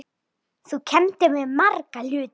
Þú kenndir mér marga hluti.